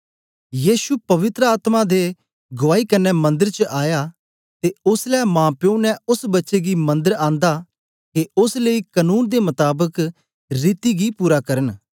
यीशु पवित्र आत्मा दे गुआई कन्ने मंदर च आया ते ओसलै माप्यो ने ओस बच्चे गी मंदर आंदा के ओस लेई कनून दे मताबक रीति गी पूरा करन